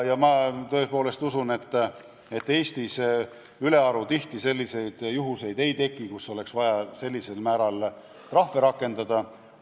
Ma tõepoolest usun, et Eestis ülearu tihti selliseid juhtumeid ei teki, kui oleks vaja sellise määraga trahve rakendada.